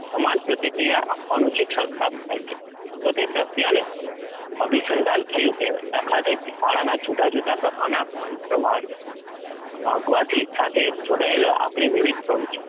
સમાન પ્રતિક્રિયા આપવાનું શિક્ષણ પ્રાપ્ત થાય છે તો તે પ્રક્રિયાને અભિસંધાન થયું કહેવાય. દાખલા તરીકે શાળાના જુદા જુદા પ્રકારના અંતવાર વાગવાથી સાથે જોડાયેલી આપણી વિવિધ પ્રવૃત્તિઓ